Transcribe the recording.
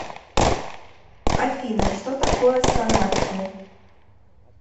афина что такое санация